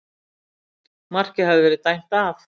Markið hafði verið dæmt af